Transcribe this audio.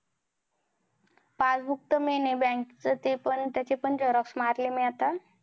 Passbook तर main हे bank चं. ते पण त्याची पण xerox मारली मी आता.